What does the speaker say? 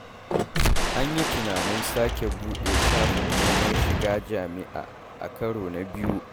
An yi tunanin sake buɗe shafin neman shiga jami'a a karo na biyu.